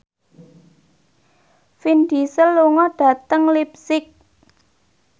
Vin Diesel lunga dhateng leipzig